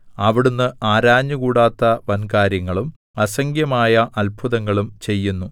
അവിടുന്ന് ആരാഞ്ഞുകൂടാത്ത വൻകാര്യങ്ങളും അസംഖ്യമായ അത്ഭുതങ്ങളും ചെയ്യുന്നു